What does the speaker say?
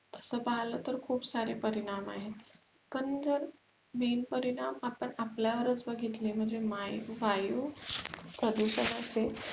तसं पाहिलं तर खूप सारे परिणाम आहेत पण जर main परिणाम आपण आपल्यावरच बघितले माये वायु प्रदूषणाचे होणारे